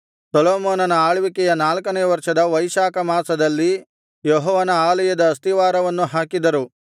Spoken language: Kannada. ಸೊಲೊಮೋನನ ಆಳ್ವಿಕೆಯ ನಾಲ್ಕನೆಯ ವರ್ಷದ ವೈಶಾಖ ಮಾಸದಲ್ಲಿ ಯೆಹೋವನ ಆಲಯದ ಅಸ್ತಿವಾರವನ್ನು ಹಾಕಿದರು